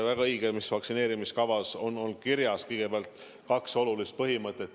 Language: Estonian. Väga õige: vaktsineerimiskavas on kirjas kõigepealt kaks olulist põhimõtet.